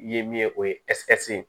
Ye min ye o ye ye